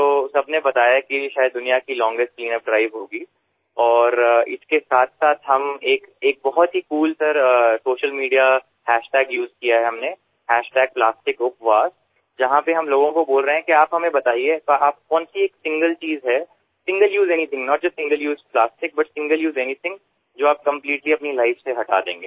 तो सबने बताया कि ये शायद दुनिया की लॉन्जेस्ट क्लीनअप ड्राइव होगी और इसके साथसाथ हम एक बहुत ही कूल सरसोशल मीडिया हैशटैग उसे किया है हमने प्लास्टिकपवास जहाँ पर हम लोगों को बोल रहे है कि आप हमें बताइए आप कौनसी सिंगल चीज़ है single use anything not just single use plastic but single use anything जो आप कंप्लीटली अपनी लाइफ से हटा देंगे